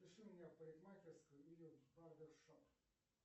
запиши меня в парикмахерскую или в барбершоп